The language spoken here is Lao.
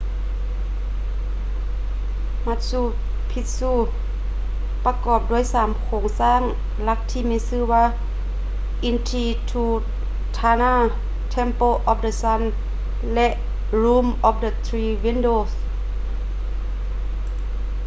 machu picchu ປະກອບດ້ວຍສາມໂຄງສ້າງຫຼັກທີ່ມີຊື່ວ່າ intihuatana temple of the sun ແລະ room of the three windows